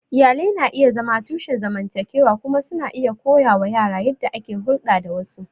Iyalai na iya zama tushen zamantakewa kuma suna iya koya wa yara yadda ake hulɗa da wasu.